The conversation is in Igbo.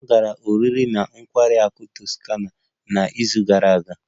M gara oriri na nkwari akụ Toscana n'izu gara aga